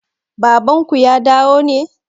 Baban ku ya dawo ne?